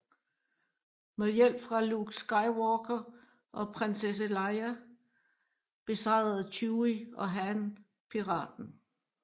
Med hjælp fra Luke Skywalker og Prinsesse Leia besejrede Chewie og Han piraten